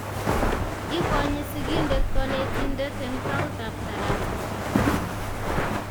Ikonyi sigindet konetindet eng tautab tarasa